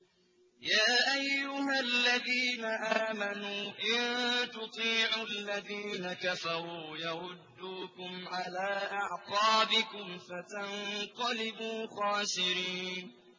يَا أَيُّهَا الَّذِينَ آمَنُوا إِن تُطِيعُوا الَّذِينَ كَفَرُوا يَرُدُّوكُمْ عَلَىٰ أَعْقَابِكُمْ فَتَنقَلِبُوا خَاسِرِينَ